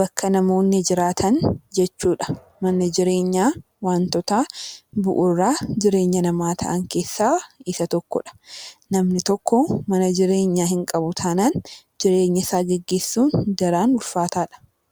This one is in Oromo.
bakka namoonni jiraatan jechuu dha. Manni jireenyaa wantoota bu'uura jireenya dhala namaa ta'an keessaa isa tokko dha. Namni tokko mana jireenyaa hin qabu taanaan jireenya isaa geggeessuun daran ulfaataa dha.